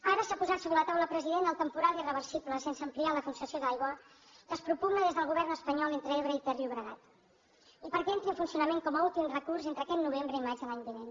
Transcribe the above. ara s’ha posat sobre la taula president el temporal i reversible sense ampliar la concessió d’aigua que es propugna des del govern espanyol entre ebre i terllobregat i perquè entri en funcionament com a últim recurs entre aquest novembre i maig de l’any vinent